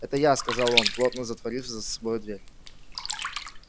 это я сказал он плотно затворив за собой дверь